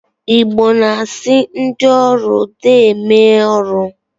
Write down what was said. Igbo na-asị ndị ọrụ deeme ọrụ